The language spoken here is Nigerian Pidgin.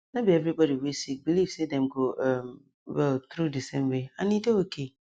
no be every body wey sick believe say dem go um well through di same way and e dey okay